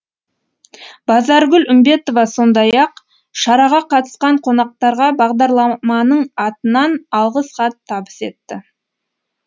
базаргүл үмбетова сондай ақ шараға қатысқан қонақтарға бағдарламаның атынан алғыс хат табыс етті